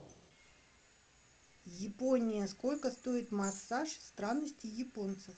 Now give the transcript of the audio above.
япония сколько стоит массаж странности японцев